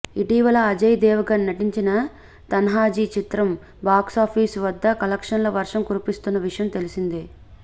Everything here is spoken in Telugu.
ఇటీవల అజయ్ దేవ్ గణ్ నటించిన తాన్హాజీ చిత్రం బాక్సాఫీజ్ వద్ద కలక్షన్ ల వర్షం కురిపిస్తున్న విషయం తెలిసిందే